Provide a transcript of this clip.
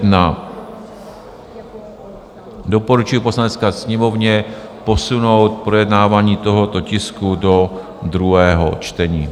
Doporučuji Poslanecké sněmovně posunout projednávání tohoto tisku do druhého čtení.